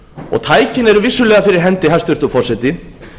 mánuði tækin eru vissulega fyrir hendi hæstvirtur forseti